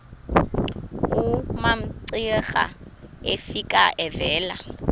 umamcira efika evela